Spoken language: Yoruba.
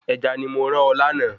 Ẹja ni mo rán ọ lánàá